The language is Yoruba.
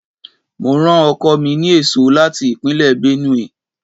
Mo rán ọkọ mi ní èso láti Ìpínlẹ̀ Benue.